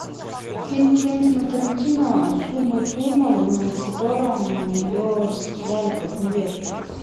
фильм квентина тарантино с умой турман в котором ее расстреляли как невесту